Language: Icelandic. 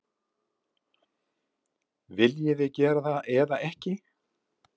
Viljið þið gera það eða ekki?